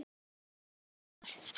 Ég fer létt með það.